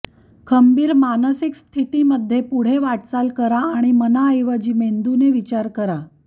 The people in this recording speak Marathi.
खंबीर मानसिक स्थितीमध्ये पुढे वाटचाल करा आणि मनाऐवजी मेंदूने विचार करा